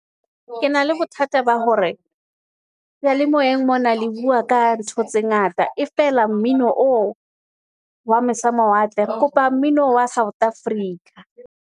Ke na le bothata ba hore seyalemoyeng mona le bua ka ntho tse ngata. E feela mmino oo wa mose mawatle, re kopa mmino wa South Africa.